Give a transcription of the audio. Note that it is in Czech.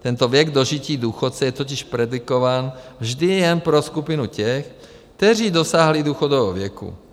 Tento věk dožití důchodce je totiž predikován vždy jen pro skupinu těch, kteří dosáhli důchodového věku.